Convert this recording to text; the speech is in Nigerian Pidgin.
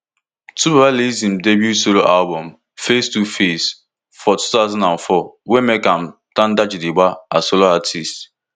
twobaba release im debut solo album face two face for two thousand and four wey make am tanda gidigba as solo artist